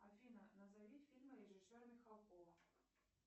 афина назови фильмы режиссера михалкова